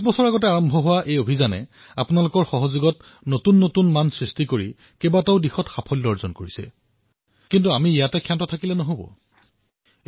এনেকুৱা নহয় যে আমি স্বচ্ছতাত আদৰ্শ স্থিতি লাভ কৰিলো কিন্তু যি ধৰণে অডিএফৰ পৰা আৰম্ভ কৰি সাৰ্বজনিক স্থানত স্বচ্ছতা অভিযানে সফলতা লাভ কৰিছে সেয়া হল এশ ত্ৰিশ কোটি দেশবাসীৰ সংকল্পৰ শক্তি কিন্তু আমি থমকি নৰও